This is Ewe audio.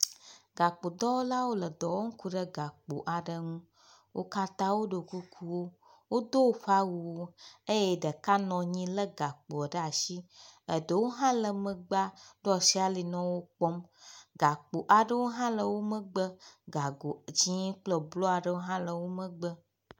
Gakpo dɔwɔlawo nɔ dɔ wɔm le gakpo aɖe ŋu. wo katã woɖo kukuwo, wodo woƒe awuwo eye ɖeka nɔ anyi lé gakpo ɖe asi, eɖewo hã le megbea ɖo asi ali nɔ wo kpɔm. Gakpo aɖewo hã le wo megbe, gago dzɛ̃ kple blu aɖewo hã le wo megbe.